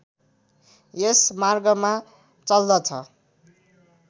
यस मार्गमा चल्दछ